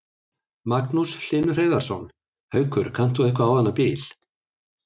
Magnús Hlynur Hreiðarsson: Haukur, kannt þú eitthvað á þennan bíl?